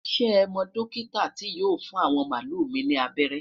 shey mo dókítà ti yóò fún awọn malu mi ni abẹrẹ?